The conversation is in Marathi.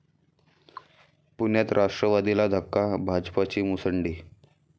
पुण्यात राष्ट्रवादीला धक्का, भाजपची मुसंडी